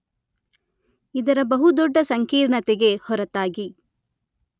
ಇದರ ಬಹು ದೊಡ್ಡ ಸಂಕೀರ್ಣತೆಗೆ ಹೊರತಾಗಿ